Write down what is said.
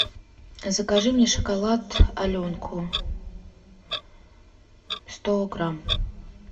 закажи мне шоколад аленку сто грамм